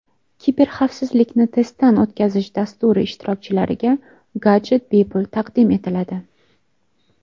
Kiberxavfsizlikni testdan o‘tkazish dasturi ishtirokchilariga gadjet bepul taqdim etiladi.